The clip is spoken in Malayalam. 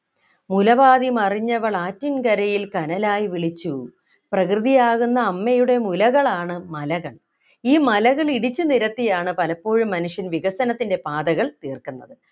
മുല പാതി മറിഞ്ഞവളാറ്റിൻകരയിൽ കനലായി വിളിച്ചു പ്രകൃതിയാകുന്ന അമ്മയുടെ മുലകളാണ് മലകൾ ഈ മലകൾ ഇടിച്ചു നിരത്തിയാണ് പലപ്പോഴും മനുഷ്യൻ വികസനത്തിൻ്റെ പാതകൾ തീർക്കുന്നത്